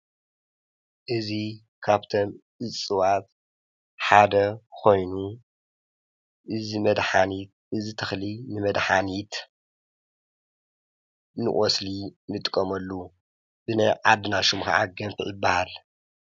እዙ ኻብቶም እፅዋት ሓደ ኾይኑ እዚ መድኃኒት እዚ ተኽሊ ንመድሓኒት ንቑስሊ ንጥቀመሉ ብናይ ዓድና ሹም ከዓ ገንፍዕ ይበሃል፡፡